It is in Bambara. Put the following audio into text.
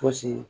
Fosi